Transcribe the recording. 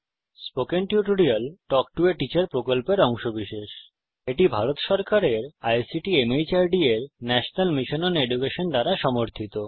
spoken tutorial talk to a teacher প্রকল্পের অংশবিশেষ এটি ভারত সরকারের আইসিটি মাহর্দ এর ন্যাশনাল মিশন ওন এডুকেশন দ্বারা সমর্থিত